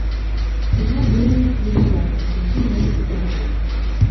кино древние цивилизации какие можно посмотреть